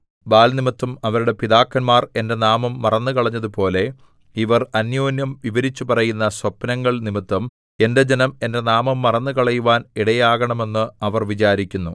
ബാല്‍ നിമിത്തം അവരുടെ പിതാക്കന്മാർ എന്റെ നാമം മറന്നുകളഞ്ഞതുപോലെ ഇവർ അന്യോന്യം വിവരിച്ചു പറയുന്ന സ്വപ്നങ്ങൾനിമിത്തം എന്റെ ജനം എന്റെ നാമം മറന്നുകളയുവാൻ ഇടയാകണമെന്ന് അവർ വിചാരിക്കുന്നു